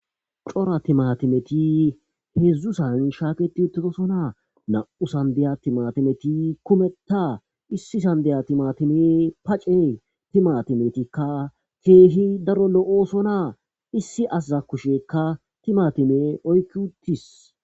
cora timatimeti heedzdzusan shaaketi uttitosonaa na7u sandeyatimatimeti kumetta issi sandeya timatime pace timatimetikka keehi daro lo7ooso naa issi azaza kushekka timatime oykki uttis